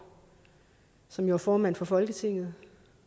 som jo er formand for folketinget